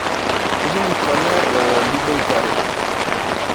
Nkilikwana lelo liboitare.